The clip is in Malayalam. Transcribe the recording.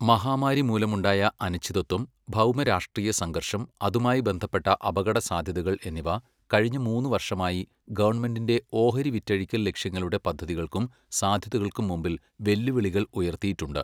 മഹാമാരി മൂലമുണ്ടായ അനിശ്ചിതത്വം, ഭൗമരാഷ്ട്രീയ സംഘർഷം, അതുമായി ബന്ധപ്പെട്ട അപകടസാധ്യതകൾ എന്നിവ കഴിഞ്ഞ മൂന്ന് വർഷമായി ഗവൺമെന്റിന്റെ ഓഹരി വിറ്റഴിക്കൽ ലക്ഷ്യങ്ങളുടെ പദ്ധതികൾക്കും സാധ്യതകൾക്കും മുമ്പിൽ വെല്ലുവിളികൾ ഉയർത്തിയിട്ടുണ്ട്.